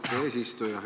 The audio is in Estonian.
Austet eesistuja!